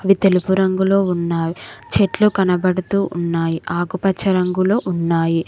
అవి తెలుపు రంగులో ఉన్నాయి చెట్లు కనపడుతూ ఉన్నాయి ఆకుపచ్చ రంగులో ఉన్నాయి.